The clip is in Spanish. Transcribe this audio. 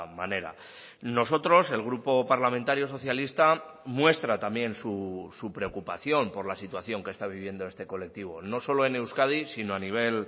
manera nosotros el grupo parlamentario socialista muestra también su preocupación por la situación que está viviendo este colectivo no solo en euskadi sino a nivel